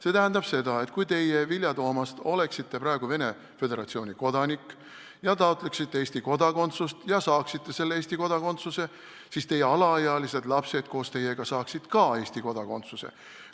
See tähendab seda, et kui teie, Vilja Toomast, oleksite praegu Venemaa Föderatsiooni kodanik ja taotleksite Eesti kodakondsust ja saaksite Eesti kodakondsuse, siis teie alaealised lapsed koos teiega saaksid ka Eesti kodakondsuse.